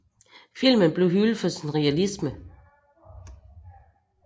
Filmen blev hyldet for sin realisme